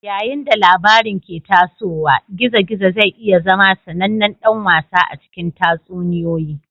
Yayin da labarin ke tasowa, gizo-gizo zai iya zama sanannen dan wasa a cikin tatsuniyoyi.